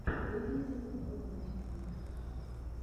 выведи мне мультики